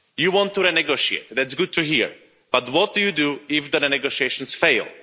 You want to renegotiate that's good to hear, but what do you do if the negotiations fail?